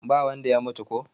ba wanda ya mutu ko?